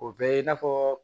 O bɛɛ ye i n'a fɔɔ